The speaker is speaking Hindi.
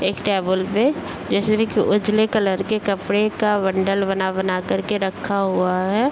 एक टॉवेल पे जैसे उजले कलर के कपड़े का बण्डल बना-बना करके रखा हुआ है।